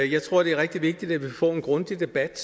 jeg tror det er rigtig vigtigt at vi få en grundig debat